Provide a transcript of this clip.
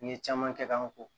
N ye caman kɛ k'an ko